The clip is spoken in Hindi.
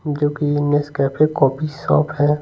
जो कि नस कैफे कॉपी शॉप है।